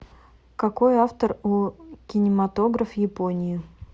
какой автор у кинематограф японии